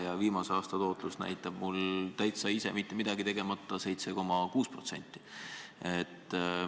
Ja viimase aasta tootlus on ise mitte midagi tegemata lausa 7,6%.